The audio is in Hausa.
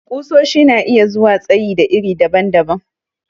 Ƙusoshi na zuwa tsayi da iri daban-daban.